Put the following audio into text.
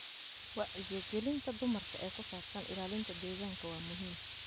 Wacyigelinta dumarka ee ku saabsan ilaalinta deegaanka waa muhiim.